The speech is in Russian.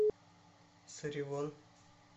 саривон